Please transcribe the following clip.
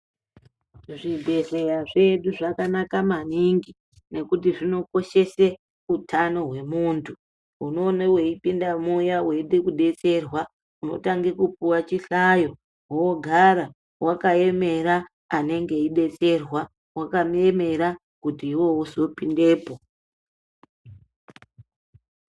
Zvigwehleya zvedu zvakanaka maningi nekuti zvinokoshese utano hwemundu, unoona weipinda muya weidetserwa, unotange kupuwa chihlayo wogara wakaemera anenge eidetserwa, wakamuemera kuti iwewe uzopindepo.